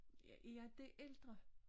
Jeg er det ældre